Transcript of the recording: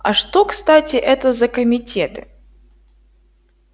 а что кстати это за комитеты